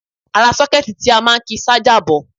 Ara sọ́kẹ́ẹ̀tì ti a máa ń ki ṣájà bọ̀